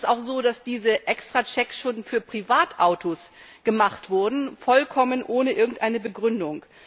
Es ist auch so, dass diese Extrachecks schon für Privatautos gemacht wurden vollkommen ohne irgendeine Begründung.